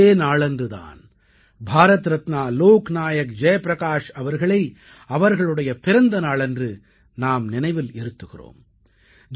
இந்த நாளன்று தான் பாரத் ரத்னா லோக்நாயக் ஜெய் பிரகாஷ் அவர்களை அவர்களுடைய பிறந்த நாளன்று நாம் நினைவில் இருத்துகிறோம்